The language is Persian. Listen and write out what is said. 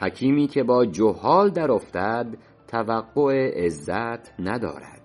حکیمی که با جهال درافتد توقع عزت ندارد